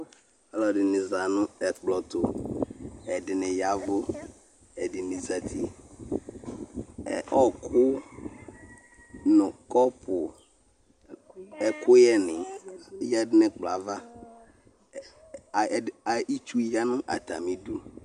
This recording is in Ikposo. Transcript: Alʋ ɛdini zanʋ ɛkplɔtʋ ɛdini ya ɛvʋ ɛdini zati ɔkʋ nʋ kɔpu ɛkʋyɛni yadʋ nʋ ɛkplɔɛ ava itsu yanʋ atami idʋ